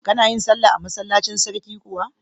Kana yin sallah a masallacin sarki kuwa?